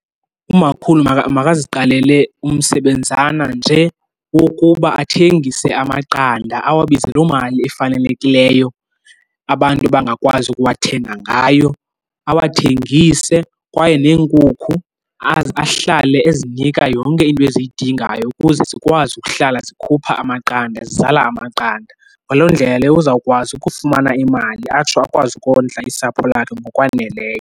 Umakhulu makaziqalele umsebenzana nje wokuba athengise amaqanda awabize loo mali efanelekileyo abantu bangakwazi ukuwathenga ngayo, awathengise. Kwaye neenkukhu ahlale ezinika yonke into eziyidingayo ukuze zikwazi ukuhlala sikhupha amaqanda, zizala amaqanda. Ngaloo ndlela leyo uzawukwazi ukufumana imali atsho akwazi ukondla usapho lwakhe ngokwaneleyo.